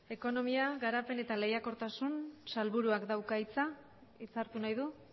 ekonomia garapen eta lehiakortasun sailburuak dauka hitza hitza hartu nahi du